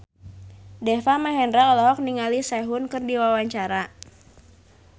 Deva Mahendra olohok ningali Sehun keur diwawancara